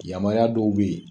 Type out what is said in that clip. Yamariya dɔw be yen